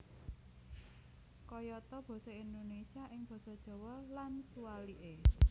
Kayata basa Indonésia ing basa Jawa lan suwalike